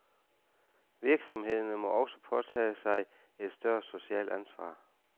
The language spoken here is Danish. Virksomhederne må også påtage sig et større socialt ansvar.